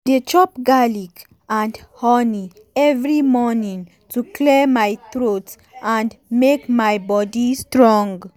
i dey chop garlic and honey every morning to clear my throat and make my body strong.